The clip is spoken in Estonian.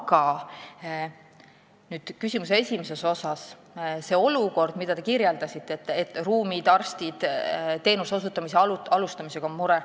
Aga nüüd küsimuse esimesest osast, sellest olukorrast, mida te kirjeldasite, et mure on ruumide, arstide, teenuse osutamise alustamisega.